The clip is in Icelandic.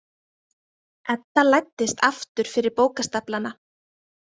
Edda læddist aftur fyrir bókastaflana.